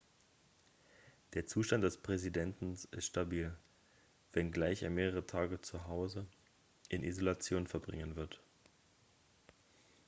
der zustand des präsidenten ist stabil wenngleich er mehrere tage zu hause in isolation verbringen wird